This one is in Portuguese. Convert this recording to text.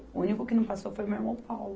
O único que não passou foi o meu irmão Paulo.